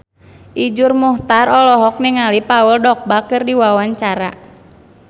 Iszur Muchtar olohok ningali Paul Dogba keur diwawancara